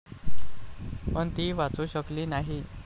पण ती वाचू शकली नाही.